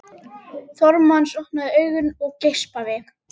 Thomas opnaði augun og geispaði.